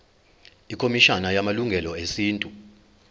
ikhomishana yamalungelo esintu